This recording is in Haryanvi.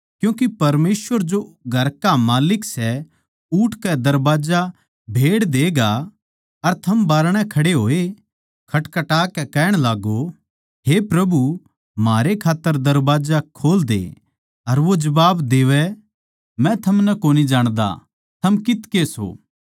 क्यूँके परमेसवर जो घर का माल्लिक सै उठकै दरबाजा भेड़ देगा अर थम बाहरणै खड़े होए खटखटाकै कहण लागो हे प्रभु म्हारै खात्तर दरबाजा खोल दे अर वो जबाब देवै मै थमनै कोनी जाण्दा थम कित्त के सो